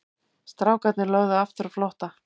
Strákarnir lögðu aftur á flótta.